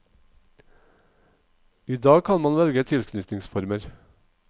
I dag kan man velge tilknytningsformer.